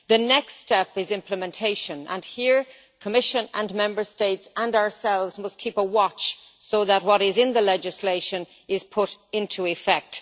The next step is implementation, and here the Commission and Member States and we ourselves must keep a watch so that what is in the legislation is put into effect.